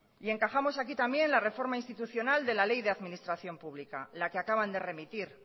y encajamos aquí también la reforma institucional de la ley de administración pública la que acaban de remitir